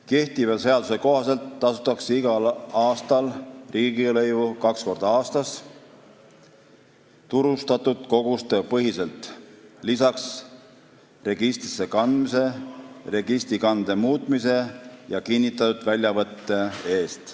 Kehtiva seaduse kohaselt tasutakse riigilõivu kaks korda aastas turustatud koguste põhiselt, lisaks registrisse kandmise, registrikande muutmise ja kinnitatud väljavõtte eest.